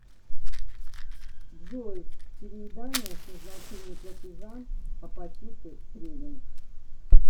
джой переедания с назначение платежа апатиты тренинг